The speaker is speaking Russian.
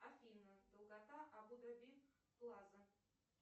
афина долгота абу даби плаза